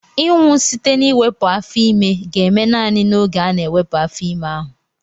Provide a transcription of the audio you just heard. Ịnwụ site na iwepu afo-ime ga-eme naanị n'oge ana-ewepu afo-ime ahu.